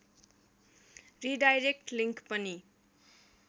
redirect link पनि